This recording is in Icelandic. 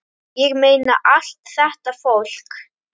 Ég meina, allt þetta fólk!